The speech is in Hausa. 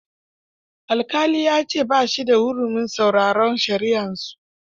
Alƙali ya ce ba shi da hurumin sauraron shari'arsu.